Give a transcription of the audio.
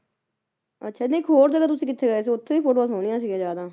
ਅੱਛਾ ਨਹੀਂ ਇੱਕ ਹੋਰ ਜਗ੍ਹਾ ਤੁਸੀ ਕਿੱਥੇ ਗਏ ਸੀ ਉੱਥੇ ਵੀ ਫੋਟੋਆਂ ਸੋਹਣੀਆਂ ਸੀ ਜ਼ਿਆਦਾ